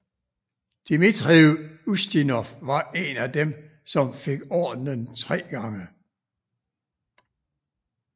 Dmitrij Ustinov var en af dem som fik ordenen tre gange